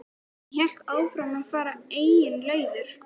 Hún hélt áfram að fara eigin leiðir.